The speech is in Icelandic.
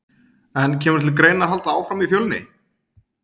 En kemur til greina að halda áfram í Fjölni?